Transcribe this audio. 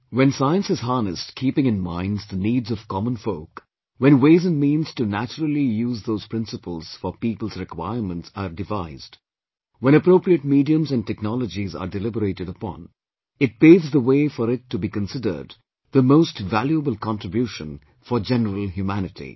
When Science is harnessed keeping in minds the needs of common folk, when ways and means to naturally use those principles for people's requirements are devised, when appropriate mediums and technologies are deliberated upon, it paves the way for it to be considered the most valuable contribution for general humanity